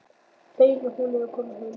Fegin að hún er að koma heim.